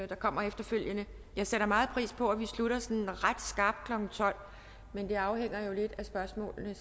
der kommer efterfølgende jeg sætter meget pris på at vi slutter sådan ret skarpt klokken tolv men det afhænger jo lidt af spørgsmålene